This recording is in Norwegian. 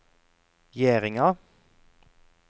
Gjerdinga